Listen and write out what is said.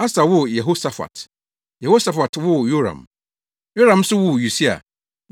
Asa woo Yehosafat, Yehosafat woo Yoram, Yoram nso woo Usia